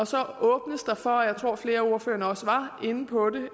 så åbnes der for og jeg tror flere af ordførerne også var inde på det